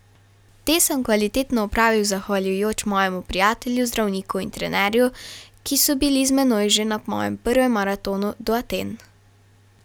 Te sem kvalitetno opravil zahvaljujoč mojemu prijatelju, zdravniku in trenerju, ki so bili z menoj že na mojem prvem maratonu do Aten.